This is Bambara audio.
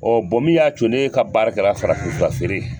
min y'a co ne ka baara kɛra farafinfura feere ye.